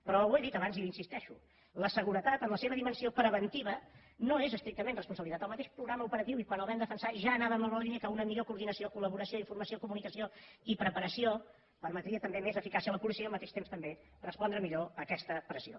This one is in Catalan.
però ho he dit abans i hi insisteixo la seguretat en la seva dimensió preventiva no és estrictament responsabilitat el mateix programa operatiu i quan el vam defensar ja anàvem en la línia que una millor coordinació collaboració informació comunicació i preparació permetrien també més eficàcia a la policia i al mateix temps també respondre millor a aquesta pressió